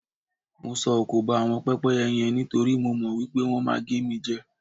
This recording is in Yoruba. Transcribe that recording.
Mo sọ òkò ba àwọn pẹ́pẹ́yẹ yen nítorí mo rò wí pé wọ́n máa gé mi jẹ.